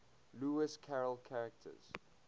lewis carroll characters